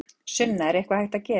Sunna: Er eitthvað hægt að gera?